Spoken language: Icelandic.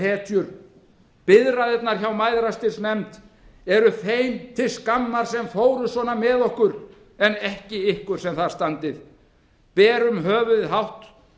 hetjur biðraðirnar hjá mæðrastyrksnefnd eru þeim til skammar sem fóru svona með okkur en ekki ykkur sem þar standið berum höfuðið hátt